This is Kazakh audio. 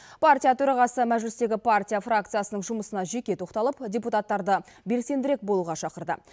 партия төрағасы мәжілістегі партия фракциясының жұмысына жеке тоқталып депутаттарды белсендірек болуға шақырды